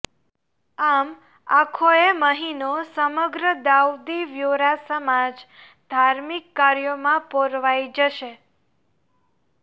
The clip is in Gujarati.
આમ આખોયે મહિનો સમગ્ર દાઉદી વ્હોરા સમાજ ર્ધાિમક કાર્યાેમાં પરોવાઇ જશે